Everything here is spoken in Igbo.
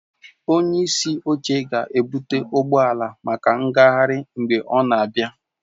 Onye isi oche ga-ebụte ụgbọ ala maka ngagharị mgbe ọ na-abịa